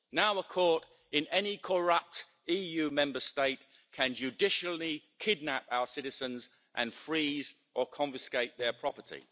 Now a court in any corrupt EU Member State can judicially kidnap our citizens and freeze or confiscate their property.